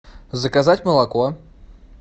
заказать молоко